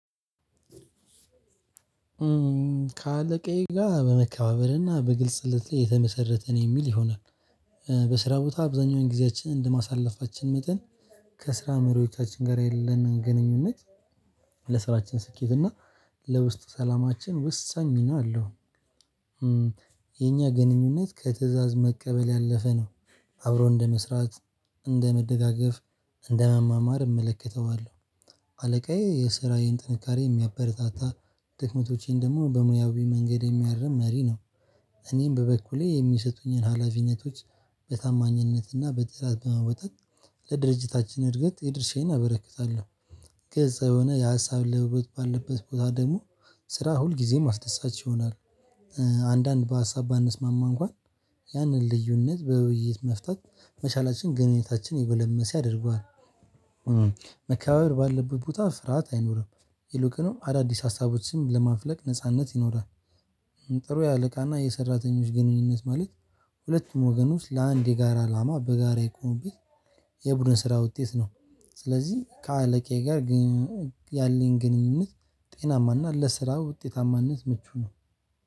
ካለቃዬ ጋር በመከባበርና በግልጽነት የተመሰረተ ነው የሚል ይሆናል። በስራ ቦታ ብዙኛውን ጊዜያችን እንደማሳለፋችን መጠን ከስራ መሪዎቻችን ጋር ያለንን ግንኙነት ለስራችን ስኬት እና ለውስጥ ሰላማችን ወሳኝ ሚና አለው። የኛ ግንኙነት ከትእዛዝ መቀበል ያለፈ ነው አብሮ እንደመስራት እንደመደጋገፍ እንደመማማር እመለከተዋለሁ። አለቃዬ የስራዬን ጥንካሬ የሚያበረታታ ድክመቶቼን ደግሞ በሙያዊ መንገድ የሚያርም መሪ ነው። እኔም በበኩሌ የሚሰጡኝን ሀላፊነቶች በታማኝነትና በጥራት በመወጣት ለድርጅታችን እድገት የድርሻዬን አበረክታለሁ። ግልጽ የሆነ የሀሳብ ለውጥ ባለበት ቦታ ደግሞ ስራ ሁልጊዜም አስደሳች ይሆናል። አንዳንድ በሀሳብ ባንስማማ እንኳን ያንን ልዩነት በውይይት መፍታት መቻላችን ግንኙነታችን የጎለመሰ ያደርገዋል። መከባበር ባለበት ቦታ ፍርዓት አይኖርም ይሉቁንም አዳዲስ ሀሳቦች ስም ለማፍለቅ ነጻነት ይኖራል። ጥሩ የአለቃና የሰራተኞች ግንኙነት ማለት ሁለቱም ወገን ውስጥ ለአንድ የጋራ አላማ በጋራ የቆሙበት የቡድን ስራ ውጤት ነው። ስለዚህ ከአለቃዬ ጋር ግን ያለኝ ግንኙነት ጤናማና ለስራ ውጤታማነት ምቹ ነው